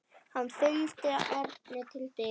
Hann fylgdi Erni til dyra.